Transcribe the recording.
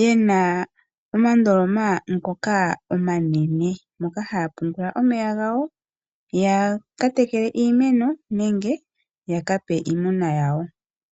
yena omandoloma omanene moka haya pungula omeya gawo yakatekele iimeno nenge yakape iimuna yawo.